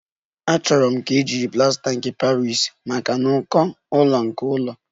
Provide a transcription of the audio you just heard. Achọrọ m ka eji plasta nke Paris maka n'uko ụlọ nke ụlọ